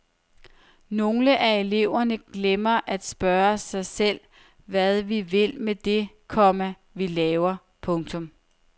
Nogle af eleverne glemmer at spørge sig selv hvad vi vil med det, komma vi laver. punktum